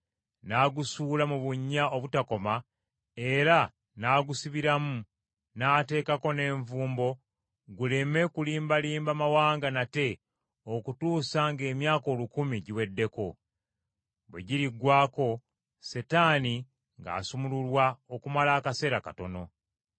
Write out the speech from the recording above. n’agusuula mu bunnya obutakoma era n’agusibiramu n’ateekako n’envumbo guleme kulimbalimba mawanga nate okutuusa ng’emyaka olukumi giweddeko. Bwe giriggwaako, Setaani ng’asumululwa okumala akaseera katono.